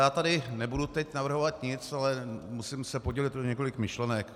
Já tady nebudu teď navrhovat nic, ale musím se podělit o několik myšlenek.